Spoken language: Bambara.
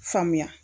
Faamuya